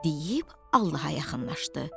Deyib Allaha yaxınlaşdı.